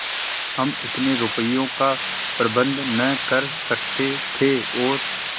हम इतने रुपयों का प्रबंध न कर सकते थे और